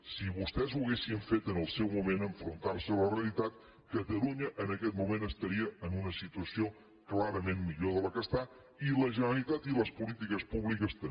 si vostès ho haguessin fet en el seu moment enfrontar se a la realitat catalunya en aquest moment estaria en una situació clarament millor de la que està i la generalitat i les polítiques públiques també